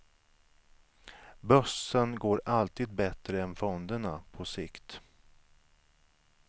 Börsen går alltid bättre än fonderna på sikt.